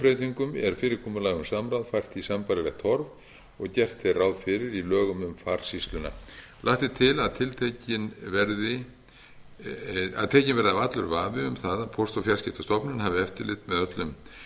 breytingum er fyrirkomulag um samráð fært í sambærilegt horf og gert er ráð fyrir í lögum um farsýsluna lagt er til að tekinn verði af allur vafi um það að póst og fjarskiptastofnun hafi eftirlit með öllum